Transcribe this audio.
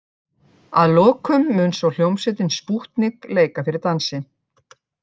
Að lokum mun svo hljómsveitin Spútnik leika fyrir dansi.